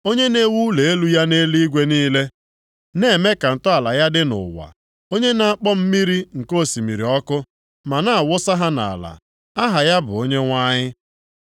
Onye na-ewu ụlọ elu ya nʼeluigwe niile, na-eme ka ntọala ya dị nʼụwa. Onye na-akpọ mmiri nke osimiri oku, ma na-awụsa ha nʼala, aha ya bụ Onyenwe anyị.